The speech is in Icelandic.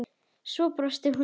Svo brosir hún.